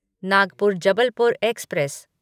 Nagpur Jabalpur express